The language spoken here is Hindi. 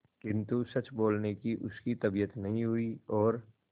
किंतु सच बोलने की उसकी तबीयत नहीं हुई और